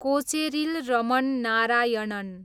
Kocheril Raman Narayanan